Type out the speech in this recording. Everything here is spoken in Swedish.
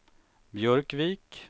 Björkvik